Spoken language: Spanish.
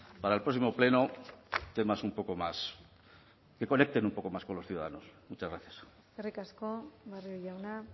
para el próximo pleno temas un poco más que conecten un poco más con los ciudadanos muchas gracias eskerrik asko barrio jauna